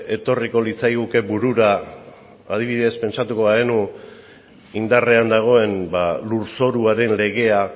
etorriko litzaiguke burura adibidez pentsatuko bagenu indarrean dagoen lurzoruaren legea